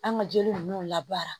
An ka jeliw labaara